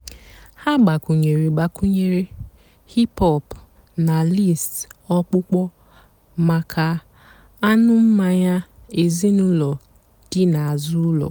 há gbakwùnyèré gbakwùnyèré hìp-hòp nà lístì ọ̀kpụ́kpọ́ màkà ànú́ mmányá èzínụ́lọ́ dị́ n'àzụ́ ụ́lọ́.